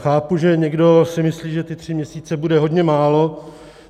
Chápu, že někdo si myslí, že ty tři měsíce bude hodně málo.